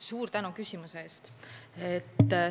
Suur tänu küsimuse eest!